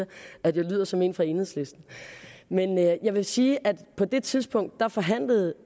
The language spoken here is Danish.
at jeg lyder som en fra enhedslisten men jeg vil sige at på det tidspunkt forhandlede